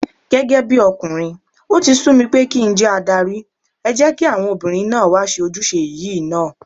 Gẹ́gẹ́bí ọkùnrin, ó ti sú mi pé kí njẹ́ adarí, ẹ jẹ́kí àwọn obìnrin náà wá ṣe ojúṣe yìí náà.